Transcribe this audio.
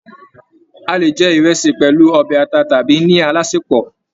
A lè jẹ ìrẹsì pẹlú ọbẹ ata tàbí ní alásèpọ̀.